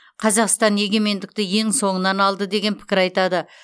қазақстан егемендікті ең соңынан алды деген пікір айтады